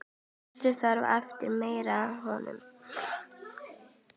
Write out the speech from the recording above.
Þessi þörf eftir meiri hönnun.